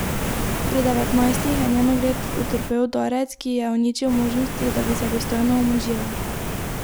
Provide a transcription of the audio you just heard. Pri devetnajstih je njen ugled utrpel udarec, ki je ji uničil možnosti, da bi se dostojno omožila.